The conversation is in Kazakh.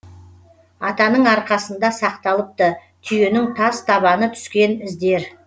атаның арқасында сақталыпты түйенің тас табаны түскен іздер